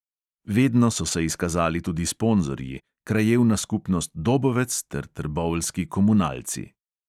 Vedno so se izkazali tudi sponzorji, krajevna skupnost dobovec ter trboveljski komunalci.